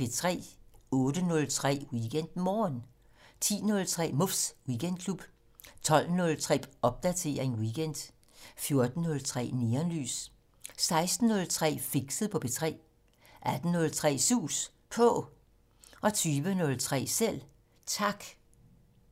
08:03: WeekendMorgen 10:03: Muffs Weekendklub 12:03: Popdatering weekend 14:03: Neonlys 16:03: Fixet på P3 18:03: Sus På 20:03: Selv Tak